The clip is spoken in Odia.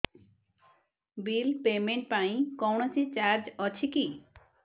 ବିଲ୍ ପେମେଣ୍ଟ ପାଇଁ କୌଣସି ଚାର୍ଜ ଅଛି କି